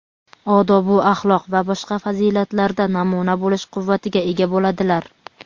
odobu axloq va boshqa fazilatlarda namuna bo‘lish quvvatiga ega bo‘ladilar.